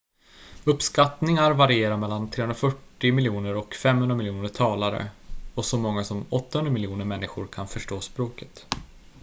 uppskattningar varierar mellan 340 miljoner och 500 miljoner talare och så många som 800 miljoner människor kan förstå språket